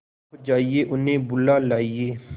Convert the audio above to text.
आप जाइए उन्हें बुला लाइए